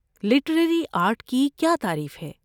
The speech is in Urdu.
لٹریری آرٹ کی کیا تعریف ہے؟